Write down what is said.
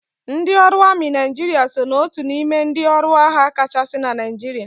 Ndị ọrụ amị Naijiria so na otu n'ime ndị ọrụ agha kachasị na Naijiria